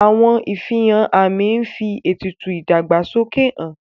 Àwọn ìfihàn àmì ń fi ètùtù ìdàgbàsókè han